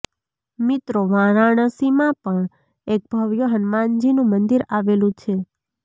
મિત્રો વારાણસીમાં પણ એક ભવ્ય હનુમાનજીનું મંદિર આવેલું છે